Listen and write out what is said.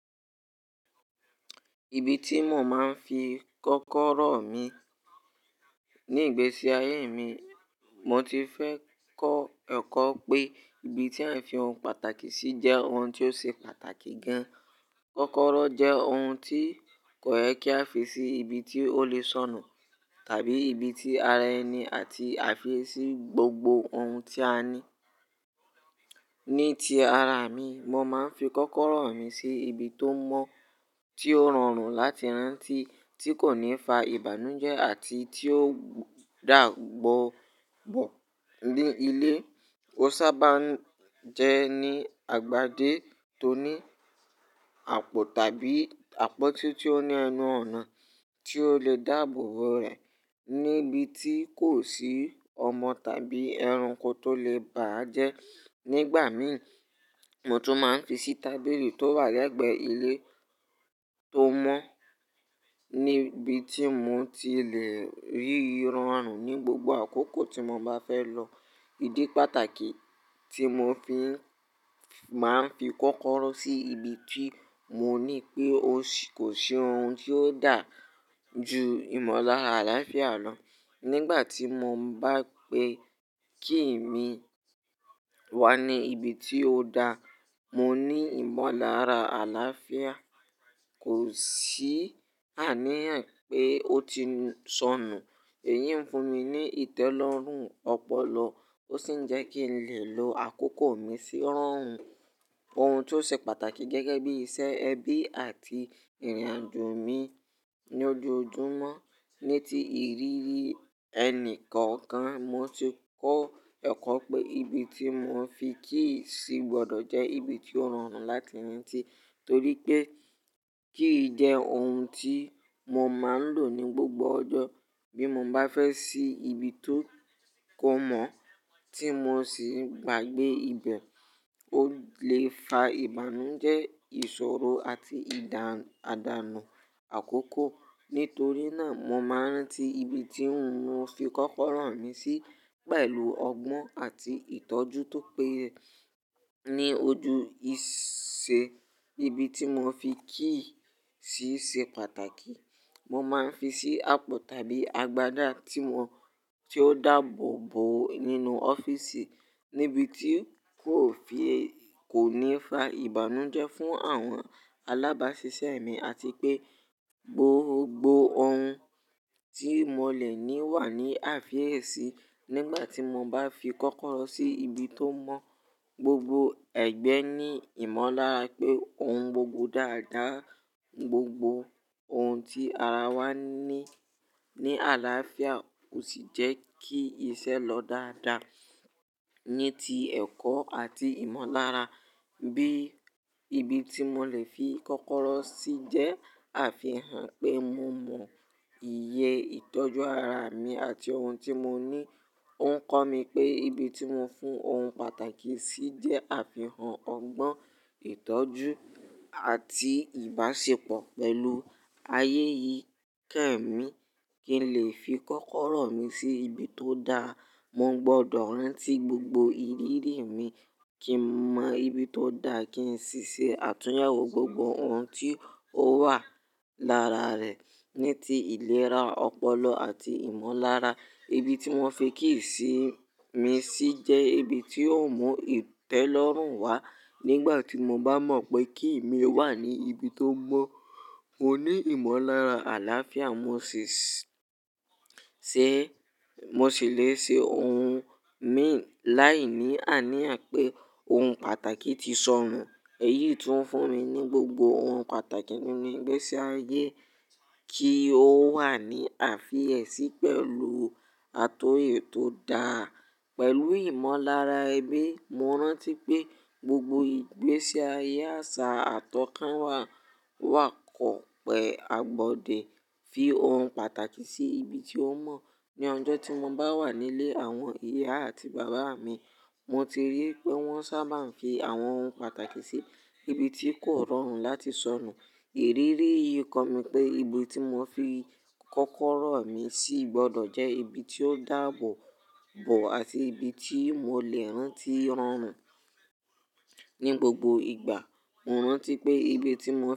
Ibi tí mo máa ń fi kọ́kọ́rọ́ mi. Ni ìgbésí ayé mi, mo ti fẹ́ kọ́ ẹ̀kọ́ pé ibi tí à ń fi ohun pàtàkì sí jẹ́ ohun tí ó ṣe pàtàkì gan. Kọ́kọ́rọ́ jẹ́ ohun tí kò yẹ kí a fi sí ibi tí ó lè sọnù, tàbí ibi tí ara ẹni àti àfi ẹ sí gbogbo ohun tí a ní. Ní ti ara mi, mo máa ń fi kọ́kọ́rọ́ mi sí ibi tó mọ́, tí ó rọrùn láti rántí, tí kò ní fa ìbànújẹ́ àti tí ó dàgbọ̀ bọ̀ ní ilé. Ó sábà ń jẹ́ ní agbádé tó ní àpò tàbí àpótí tí ó ní ẹnu ọ̀nà tí ó lè dàbọ̀ rẹ̀ níbi tí kò sí ọmọ tàbí ẹranko tó lè bà á jẹ́. Nígbà mi, mo tún máa ń fi sí tábìlì tó wà lẹ́gbẹ̀ẹ́ ilé tó mọ́ níbi tí mo ti lè rí i rọrùn ní gbogbo àkókò tí mo bá fẹ́ lọ. Ídí pàtàkì tí mo fi máa ń fi kọ́kọ́rọ́ sí ibi tí mo ní pé ó kò ṣe ohun tí ó dà ju ìmọlára àlàáfíà lọ. Nígbà tí mo bá pé kí mi wà ní ibi tí ó da, mo ní ìmọ̀lára àlàáfíà, kò sì àníyàn pé ó ti sọnù. Èyí ń fún mi ní ìtẹ́lọ́rùn ọpọlọ, ó sì ń jẹ́ kí n lè lo àkókò mi sí rọrùn. Ohun tó ṣe pàtàkì gẹ́gẹ́ bí iṣẹ́ ẹbí àti ìrìnàjò mi ní ojoojúmọ́. Ní ti ìrírí ẹni kọ̀ọ̀kan, mo ti kọ́ ẹ̀kọ́ pé ibi tí mo fi key í sì gbọdọ̀ jẹ́ ibi tí ó rọrùn láti rántí, torí pé key í jẹ́ ohun tí mo máa ń lò ní gbogbo ọjọ́. Bí mo bá fẹ́ ṣí ibi tó kọ mọ́ tí mo sì gbàgbé ibẹ̀, ó lè fa ìbànújẹ́, ìṣòro àti àdànù àkọ́kọ́. Nítorí náà, mo máa ń rántí ibi tí mo fi kọ́kọ́rọ́ mi sí pẹ̀lú ọgbọ́n àti ìtọ́jú tó péye. Ní ojú ìṣe, ibi tí mo fi key í sì ṣe pàtàkì. Mo máa ń fi sí àpò tàbí agbádá tí ó dàbọ̀ bo nínú ọ́fíìsì, níbi tí kò ní fa ìbànújẹ́ fún àwọn alábáṣiṣẹ́ mi àti pé gbogbo ohun tí mo lè ní wà ní àfi èsí. Nígbà tí mo bá fi kọ́kọ́rọ́ sí ibi tó mọ́, gbogbo ẹ̀gbẹ́ ní ìmọ̀lára pé ohun gbogbo dáadáa, gbogbo ohun tí ara wa ní ní àlàáfíà, ó sì jẹ́ kí iṣẹ́ lọ dáadáa. Ní ti ẹ̀kọ́ àti ìmọ̀lára, bí ibi tí mo lè fi kọ́kọ́rọ́ sí jẹ́ àfihàn pé mo mọ iye ìtọ́jú ara mi àti ohun tí mo ní. Ó ń kọ́ mi pé ibi tí mo fún ohun pàtàkì sí jẹ́ àfihàn ọgbọ́n ìtọ́jú àti ìbáṣepọ̀ pẹ̀lú ayé yìí kẹ́mi. Kí n lè fi kọ́kọ́rọ́ mi sí ibi tó da, mo gbọdọ̀ rántí gbogbo ìrírí mi kí n mọ ibi tó da kí n sì ṣe àtúnyẹ̀wò gbogbo ohun tí ó wà lára rẹ̀. Ní ti ìlera ọpọlọ àti ìmọ̀lára, ibi tí mo fi key í sì mi sí jẹ́ ibi tí ó mú ìtẹ́lọ́rùn wá. Nígbà tí mo bá mọ̀ pé key í mi wà ní ibi tó mọ́, mo ní ìmọ̀lára àlàáfíà, mó sì mo sì lè ṣe ohun mi láìní àníyàn pé ohun pàtàkì ti sọnù. Èyí tún fún mi ní gbogbo ohun pàtàkì nínú ìgbésí ayé, kí ó wà ní àfi èsí pẹ̀lú àtòyè tó dáa. Pẹ̀lú ìmọ̀lára ẹbí, mo rántí pé gbogbo ìgbésí ayé àṣà àtọ̀kànwá wà kọ̀pẹ́ agbọ̀dè. Fi ohun pàtàkì sí ibi tí ó mọ́. Ni ọjọ́ tí mo bá wà nílé àwọn ìyá àti bàbá mi, mo ti rí pé wọ́n sábà ń fi àwọn ohun pàtàkì sí ibi tí kò rọrùn láti sọnù. Ìrírí yìí kọ́ mi pé ibi tí mo fi kọ́kọ́rọ́ mi sì gbọdọ̀ jẹ́ ibi tí ó dàbọ̀ bo àti ibi tí mo lè rántí rọrùn. Ní gbogbo ìgbà, mo rántí pé ibi tí mo.